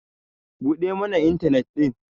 buɗe mana intanet din!